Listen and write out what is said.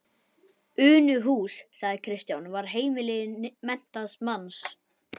Unuhús, sagði Kristján, var heimili menntaðs manns.